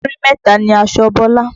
Múrí mẹ́ta ni aṣọ Bọ́lá.